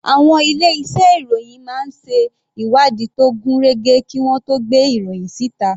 Àwọn ilé iṣẹ́ ìròhìn máa ń ṣe ìwádìí tó gún régé kí wọ́n tó gbé ìròhìn síta.